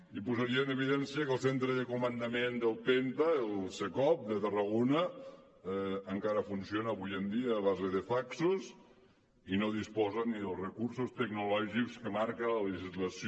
i posaria en evidència que el centre de comandament del penta el cecop de tarragona encara funciona avui en dia a base de faxos i no disposa ni dels recursos tecnològics que marca la legislació